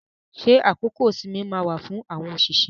Ṣé àkókò ìsinmi máa wà fún àwọn òṣìṣẹ́?